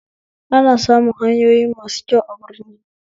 Ana samun hanyoyi masu kyau a birni